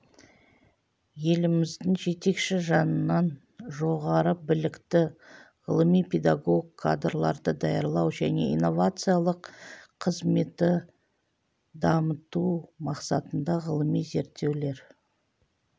еліміздің жетекші жанынан жоғары білікті ғылыми-педагог кадрларды даярлау және инновациялық қызметті дамыту мақсатында ғылыми зерттеулер